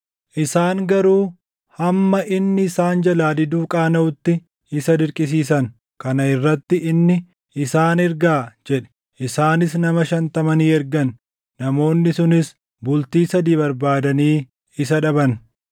Isaan garuu hamma inni isaan jalaa diduu qaanaʼutti isa dirqisiisan. Kana irratti inni, “Isaan ergaa” jedhe. Isaanis nama shantama ni ergan; namoonni sunis bultii sadii barbaadanii isa dhaban.